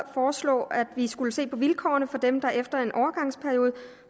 foreslog at vi skulle se på vilkårene for dem der efter en overgangsperiode